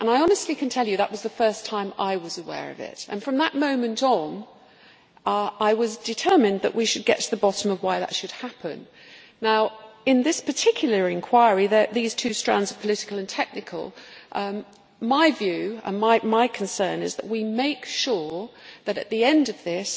I honestly can tell you that was the first time I was aware of it, and from that moment on I was determined that we should get to the bottom of why that should happen. Now, in this particular inquiry, with these two strands, political and technical, my concern is that we make sure that, at the end of this,